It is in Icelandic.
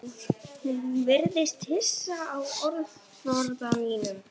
Hún virðist hissa á orðaforða mínum.